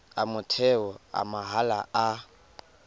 a motheo a mahala a